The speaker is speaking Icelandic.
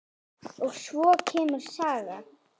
Og svo kemur saga: